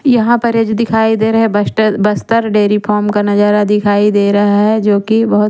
यहा पर ये जो दिखाई दे रहे हे बस्टर बस्तर देरी फोम का नजारा दिखाई दे रहा हे जो की बहोत --